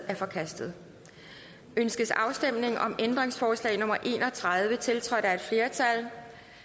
er forkastet ønskes afstemning om ændringsforslag nummer en og tredive tiltrådt af et flertal